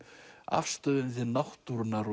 afstöðunni til náttúrunnar